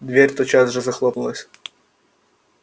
дверь тотчас же захлопнулась